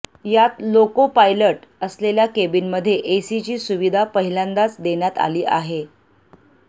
यात loco pilot असलेल्या केबिनमध्ये एसीची सुविधा पाहिल्यांदाज देण्यात आली आहे